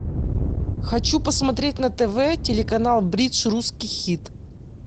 хочу посмотреть на тв телеканал бридж русский хит